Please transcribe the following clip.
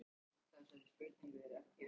Tengsl við náttúruhamfarir?